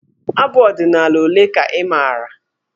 Abụ ọdịnaala ole ka ị maara?